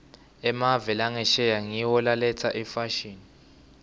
emave angesheya ngiwo laletsa imfashini